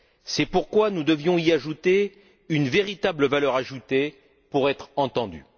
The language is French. C'est pourquoi nous devions y ajouter une véritable valeur ajoutée pour être entendus.